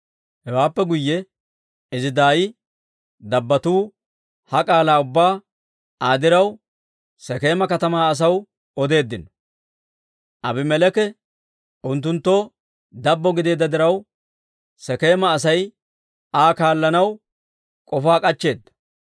Hewaappe guyye izi daay dabbotuu ha k'aalaa ubbaa Aa diraw Sekeema katamaa asaw odeeddino; Abimeleeki unttunttoo dabbo gideedda diraw, Sekeema Asay Aa kaallanaw k'ofaa k'achcheeda.